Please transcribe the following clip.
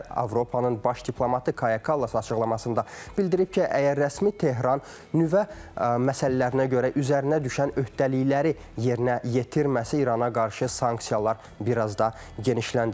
Avropanın baş diplomatı Kaya Kallas açıqlamasında bildirib ki, əgər rəsmi Tehran nüvə məsələlərinə görə üzərinə düşən öhdəlikləri yerinə yetirməsə İrana qarşı sanksiyalar bir az da genişləndirəcək.